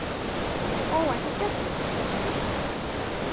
Óvæntur gestur